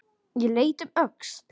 Ég leit um öxl.